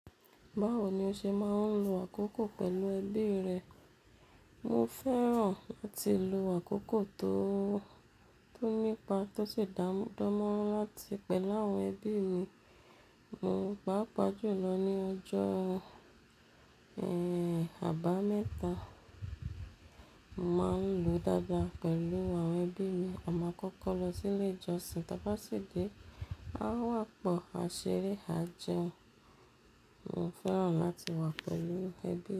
Báwo ni o ṣe máa ń lo àkókò pẹ̀lú ẹbí rẹ? Mo fẹ́ràn láti lo àkókò tó, tó nípa tó sì dánmọ́rán láti pẹ̀ láwon ẹbí mi. Mo pá pàjú lọ ní ọjọ́ ẹ́, Àbámẹ́ta. Mo máa ń lo dáadáa pẹ̀lú àwọn ẹbí mi. Ọmọ kọ́kọ́ lọ sí ilé ìjọsìn tọ bá sì dé, a wà pọ̀, a ṣeré, a jẹun. Mo fẹ́ràn láti wà pẹ̀lú ẹbí mi.